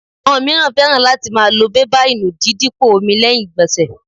Àwọn mìíràn fẹ́ràn láti máa lo bébà ìnùdíí dípò omi lẹ́yìn ìgbọ̀nsẹ̀